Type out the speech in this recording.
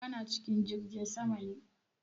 Kana cikin jirgin sama ne?